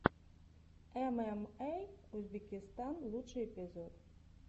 эмэмэй узбекистан лучший эпизод